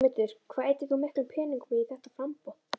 Sigmundur: Hvað eyddir þú miklum peningum í þetta framboð?